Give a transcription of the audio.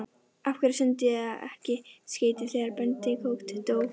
Af hverju sendi ég ekki skeyti þegar Benedikt dó?